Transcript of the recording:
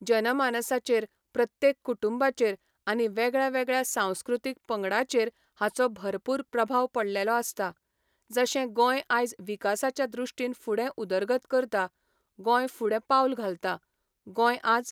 जनमानसाचेर प्रत्येक कुटुंबाचेर आनी वेगळ्या वेगळ्या सांस्कृतीक पंगडाचेर हाचो भरपूर प्रभाव पडलेलो आसता. जशें गोंय आयज विकासाच्या दृश्टीन फुडें उदरगत करता, गोंय फुडें पावल घालता. गोंय आयज